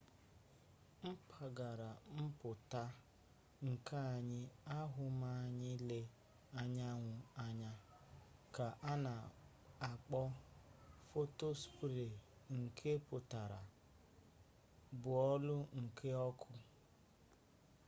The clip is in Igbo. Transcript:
mpaghara mputa nkea anyi ahu ma anyi lee anyanwu anya ka ana akpo photospere nke putara bọọlụ nke ọkụ